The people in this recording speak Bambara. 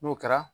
N'o kɛra